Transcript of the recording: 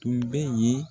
Tun bɛ yen